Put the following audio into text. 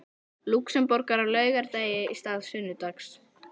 Lúxemborgar á laugardegi í stað sunnudags.